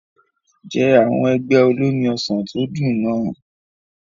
Jẹ àwọn ẹ̀gbẹ́ olómi ọsàn tó dùn náà.